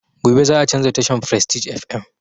Gobe za a canza tashan frestige fm